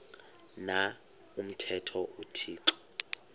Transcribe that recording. na umthetho uthixo